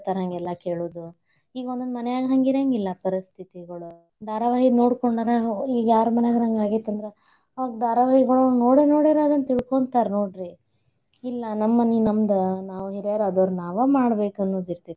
ಹೇಳ್ತಾರ ಹಂಗಾಲ್ಲಾ ಕೇಳೋದು. ಈಗ ಒಂದೊಂದ್ ಮನ್ಯಾಗ ಹಂಗ ಇರಾಂಗಿಲ್ಲಾ ಪರಿಸ್ಥಿತಿಗಳು ಧಾರಾವಾಹಿ ನೋಡ್ಕೊಂಡರ, ಹೋ ಈಗ ಯಾರ ಮನ್ಯಾಗಾರ ಹಂಗ ಆಗೇತಿ ಅಂದ್ರ ಆ ಧಾರಾವಾಹಿಯೊಳಗ ನೋಡೆ, ನೋಡನ್ಯಾರ ಅದ್ನ ತಿಳ್ಕೊಂತಾರ ನೋಡ್ರಿ. ಇಲ್ಲಾ ನಮ್ ಮನಿ ನಮ್ದ್, ನಾವ್ ಹಿರ್ಯಾರ್ ಆದೋರ್ ನಾವ್ ಮಾಡ್ಬೇಕನ್ನೋದ ಇರ್ತೇತಿ.